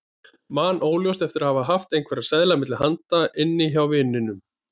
Man óljóst eftir að hafa haft einhverja seðla milli handa inni hjá vininum.